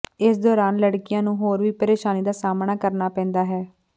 ਇਸ ਦੌਰਾਨ ਲੜਕੀਆਂ ਨੂੰ ਹੋਰ ਵੀ ਪ੍ਰੇਸ਼ਾਨੀ ਦਾ ਸਾਹਮਣਾ ਕਰਨਾ ਪੈਂਦਾ ਹੈ